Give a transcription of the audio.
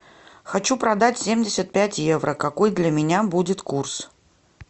хочу продать семьдесят пять евро какой для меня будет курс